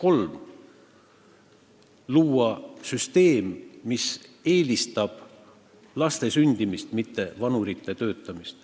On vaja luua süsteem, mis soodustab laste sündimist, mitte vanurite töötamist.